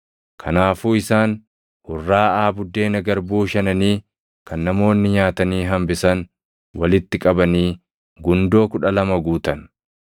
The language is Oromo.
Kanaafuu isaan hurraaʼaa buddeena garbuu shananii kan namoonni nyaatanii hambisan walitti qabanii gundoo kudha lama guutan.